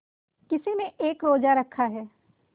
किसी ने एक रोज़ा रखा है